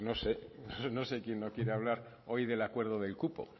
no sé quién no quiere hablar hoy del acuerdo del cupo